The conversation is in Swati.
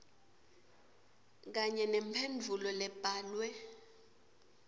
kanye nemphendvulo lebhalwe